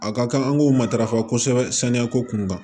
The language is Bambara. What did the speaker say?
A ka kan an k'o matarafa kosɛbɛ saniya ko kun kan